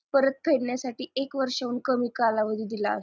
परत फेडण्यासाठी एक वर्षाहून कमी कालावधी दिला असतो